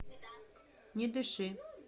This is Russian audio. не дыши